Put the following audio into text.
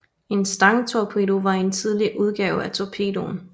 En stangtorpedo var en tidlig udgave af torpedoen